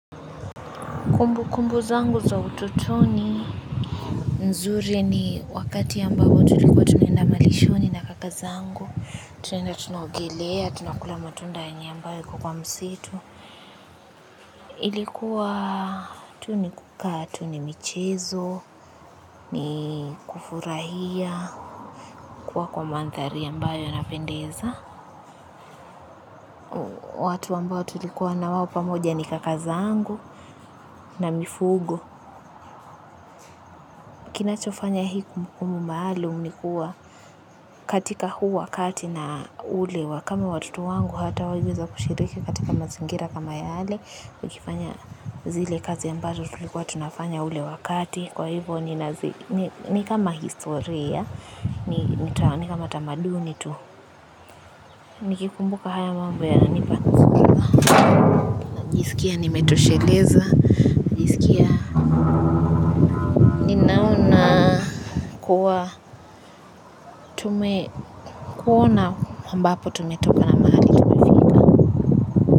Kumbukumbu zangu za utotoni nzuri ni wakati ambao tulikuwa tunaenda malishoni na kaka zangu, tunaenda tunaogelea, tunakula matunda yani ambayo yako kwa msitu. Ilikuwa tu ni kukaa tu ni michezo, ni kufurahia, kuwa kwa mandhari ambayo inapendeza. Watu ambao tulikuwa nao pamoja ni kaka zangu na mifugo kinachofanya hii kumbukumbu maalum ni kuwa katika huu wakati na ule wa kama watoto wangu hawataweza kushiriki katika mazingira kama yale, wakifanya zile kazi ambazo tulikuwa tunafanya ule wakati kwa hivyo ni kama historia, ni kama tamaduni tu nikikumbuka haya mambo najisikia nimetosheleza, najisikia ninaona kuwa tumeona ambapo tumetoka na mahali tunaenda.